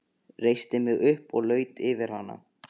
Reisti mig upp og laut yfir hana.